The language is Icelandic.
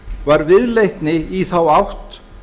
var viðleitni í þá átt